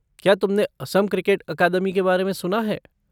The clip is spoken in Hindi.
क्या तुमने असम क्रिकेट अकादमी के बारे में सुना है?